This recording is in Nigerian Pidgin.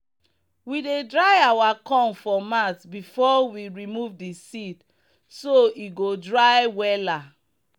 we dey dry our corn for mat before we remove the seed so e go dry wella.